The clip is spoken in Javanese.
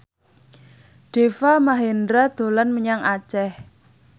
Deva Mahendra dolan menyang Aceh